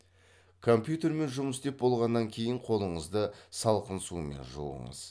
компьютермен жұмыс істеп болғаннан кейін қолыңызды салқын сумен жуыңыз